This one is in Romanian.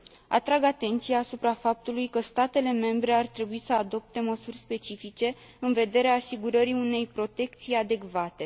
Atrag atenția asupra faptului că statele membre ar trebui să adopte măsuri specifice în vederea asigurării unei protecții adecvate.